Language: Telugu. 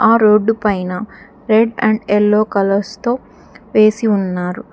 ఆ రోడ్డు పైన రెడ్ అండ్ యెల్లో కలర్స్ తో వేసి ఉన్నారు.